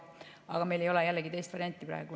Aga meil ei ole jällegi praegu teist varianti.